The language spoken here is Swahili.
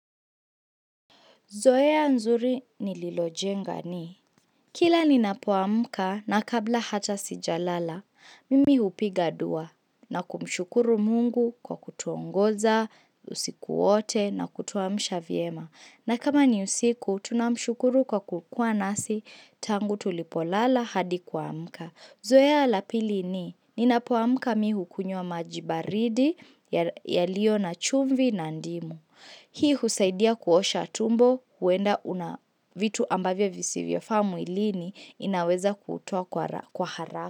Zoea nzuri nililojenga ni. Kila ni napoamka na kabla hata sijalala, mimi hupiga dua na kumshukuru mungu kwa kutuongoza, usiku wote na kutuamisha vyema. Na kama ni usiku, tunamshukuru kwa kukua nasi tangu tulipolala hadi kuamka. Zoea la pili ni, ninapoamka mimi hukunywa maji baridi yaliyo na chumvi na ndimu. Hii husaidia kuosha tumbo, huenda vitu ambavyo visivyofaa mwilini inaweza kutoa kwa haraka.